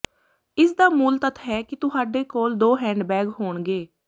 ਇਸ ਦਾ ਮੂਲ ਤੱਥ ਹੈ ਕਿ ਤੁਹਾਡੇ ਕੋਲ ਦੋ ਹੈਂਡਬੈਗ ਹੋਣਗੇ